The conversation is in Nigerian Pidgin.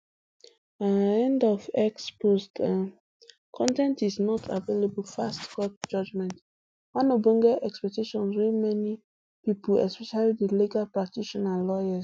um end of x post um con ten t is not available fast court judgement one ogbonge expectation wey many pipo especially di legal practitioners lawyers